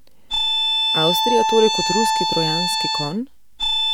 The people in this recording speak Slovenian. Avstrija torej kot ruski trojanski konj?